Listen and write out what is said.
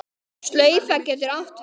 Slaufa getur átt við